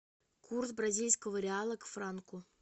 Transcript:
курс бразильского реала к франку